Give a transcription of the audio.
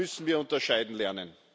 Das müssen wir unterscheiden lernen.